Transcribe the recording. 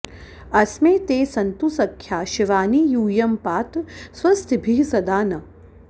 अ॒स्मे ते॑ सन्तु स॒ख्या शि॒वानि॑ यू॒यं पा॑त स्व॒स्तिभिः॒ सदा॑ नः